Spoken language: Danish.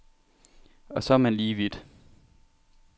Og så er man lige vidt.